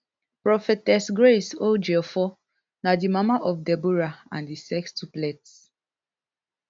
prophetess grace odjiefo na di mama of deborah and di sextuplets